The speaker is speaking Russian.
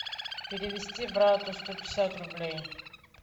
перевести брату сто пятьдесят рублей